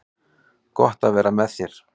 Gott að það var með þér.